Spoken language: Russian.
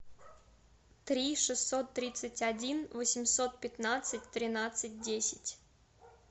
три шестьсот тридцать один восемьсот пятнадцать тринадцать десять